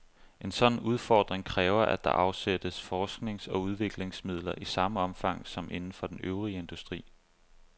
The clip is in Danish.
En sådan udfordring kræver, at der afsættes forsknings- og udviklingsmidler i samme omfang som inden for den øvrige industri.